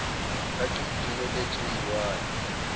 ka ke iteletse ho lwana